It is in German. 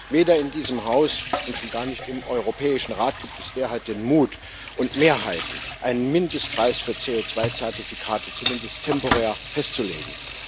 Weder in diesem Haus und schon gar nicht im Europäischen Rat gibt es derzeit den Mut und die Mehrheiten, um einen Mindestpreis für CO2 Zertifikate, zumindest temporär, festzulegen.